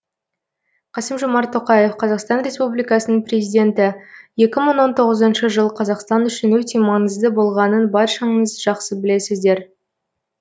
қасым жомарт тоқаев қазақстан республикасының президенті екі мың он тоғызыншы жыл қазақстан үшін өте маңызды болғанын баршаңыз жақсы білесіздер